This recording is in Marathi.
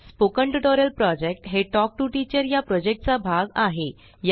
स्पोकन ट्यूटोरियल प्रॉजेक्ट हे टॉक टू टीचर या प्रॉजेक्टचा भाग आहे